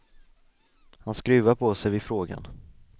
Han skruvar på sig vid frågan.